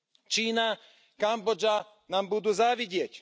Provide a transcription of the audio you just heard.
Čína, Kambodža nám budú závidieť.